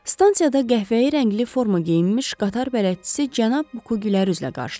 Stansiyada qəhvəyi rəngli forma geyinmiş qatar bələdçisi cənab Buku gülər üzlə qarşıladı.